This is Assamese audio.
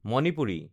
মণিপুৰী